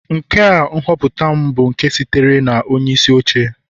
Nke a nhọpụta m bụ nke sitere na onyeisi oche